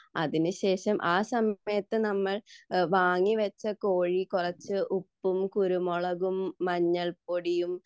അതിനു ശേഷം ആ സമയത്തു നമ്മൾ വാങ്ങിവെച്ച കോഴി കുറച്ചു ഉപ്പും കുരുമുളകും മഞ്ഞൾപ്പൊടിയും